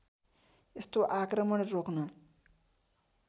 यस्तो आक्रमण रोक्न